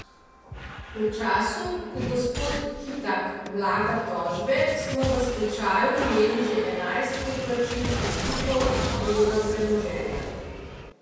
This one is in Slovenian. V času, ko gospod Kitak vlaga tožbe, smo v stečaju imeli že enajst poplačil upnikov iz drugega premoženja.